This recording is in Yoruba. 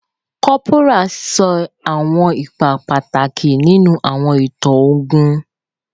Cọ́póra ṣe awọn ipa pataki ninu awọn itan ogun